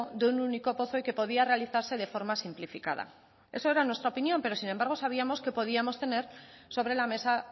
de un único pozo y que podía realizarse de forma simplificada eso era nuestra opinión pero sin embargo sabíamos que podíamos tener sobre la mesa